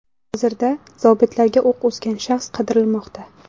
Hozirda zobitlarga o‘q uzgan shaxs qidirilmoqda.